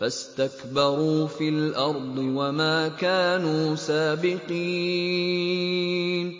فَاسْتَكْبَرُوا فِي الْأَرْضِ وَمَا كَانُوا سَابِقِينَ